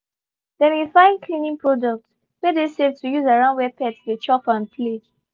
they been fine cleaning products wey dey safe to use around where pets dey chop and play.